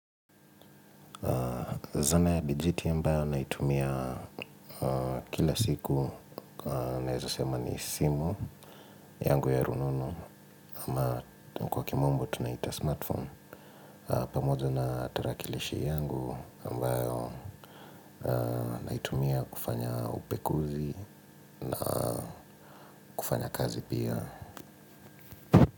Zana ya bajeti ambayo naitumia kila siku, naeza sema ni simu, yangu ya rununu, ama kwa kimombo tunaita smartphone, pamoja na tarakilishi yangu ambayo naitumia kufanya upekuzi, kufanya kazi pia.